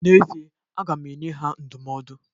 N'ezie aga m enye ha ndụmọdụ.